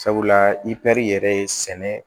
Sabula i pɛri yɛrɛ ye sɛnɛ ye